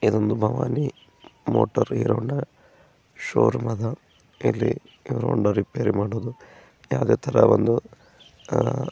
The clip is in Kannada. ಇದೊಂದು ಭವಾನಿ ಮೋಟಾರ್ ಇರೋನ ಶೋ ರೂಮ್ ಅದ ಇಲ್ಲಿ ರಿಪೇರಿ ಮಾಡೋದು ಯಾವುದೇ ತರ ಒಂದು--